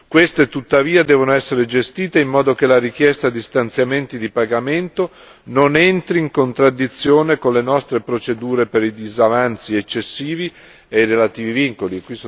Queste, tuttavia, devono essere gestite in modo che la richiesta di stanziamenti di pagamento non entri in contraddizione con le nostre procedure per i disavanzi eccessivi e i relativi vincoli.